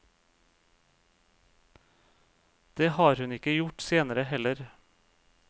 Det har hun ikke gjort senere heller.